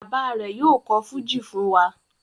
Bàbá rẹ̀ yóò kọ̀ fújì fún wa.